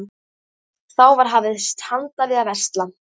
Þá var hafist handa við að versla.